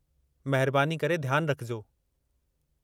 महिरबानी करे ध्यानु रखिजो।